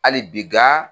Hali bi nka